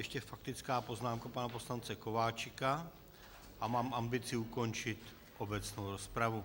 Ještě faktická poznámka pana poslance Kováčika a mám ambici ukončit obecnou rozpravu.